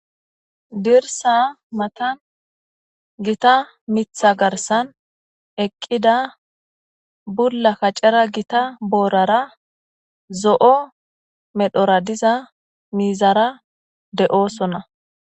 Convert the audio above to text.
Dirssa matan gita mitha garssan eqida bulla kacera Gita boorara zo'o medhora diza miizara de'osona.